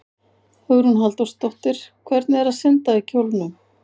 Hugrún Halldórsdóttir: Hvernig er að synda í kjólnum?